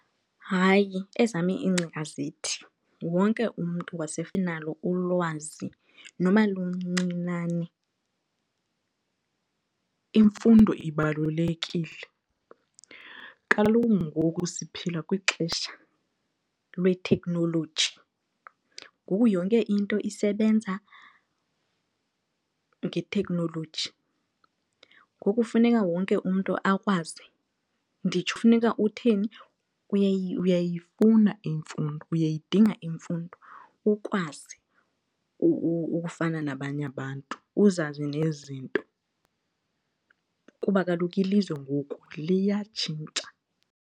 Hayi, ezam iingcinga zithi wonke umntu unalo ulwazi noba luncinane. Imfundo ibalulekile, kaloku ngoku siphila kwixesha lwetheknoloji, ngoku yonke into isebenza ngetheknoloji ngoku funeka wonke umntu akwazi. Nditsho funeka utheni uyayifuna imfundo, uyayidinga imfundo ukwazi ukufana nabanye abantu uzazi nezinto kuba kaloku ilizwe ngoku liyatshintsha.